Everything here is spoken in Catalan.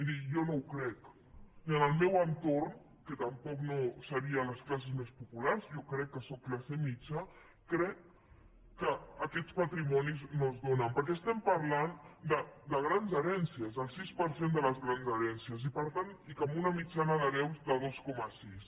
miri jo no ho crec miri en el meu entorn que tampoc no seria les classes més populars jo crec que sóc classe mitjana crec que aquests patrimonis no es donen perquè estem parlant de grans herències el sis per cent de les grans herències i amb una mitjana d’hereus de dos coma sis